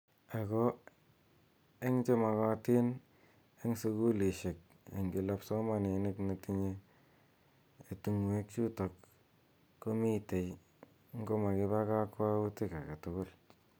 Ako eng che mokotin eng sukulishek eng kila psomaniat ne tinye tungwek chutok komitei ngo makiiba kakwautik ake tugul.